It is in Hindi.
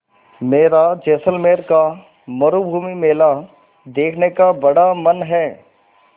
मेरा जैसलमेर का मरूभूमि मेला देखने का बड़ा मन है